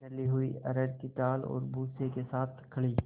दली हुई अरहर की दाल और भूसे के साथ खली